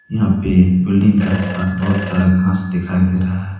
यहा पे बिल्डिंग के आसपास बहुत सारा घास दिखाई दे रहा है।